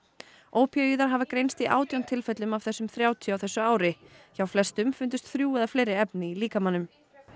ópíóíðar hafa greinst í átján tilfellum af þessum þrjátíu á þessu ári hjá flestum fundust þrjú eða fleiri efni í líkamanum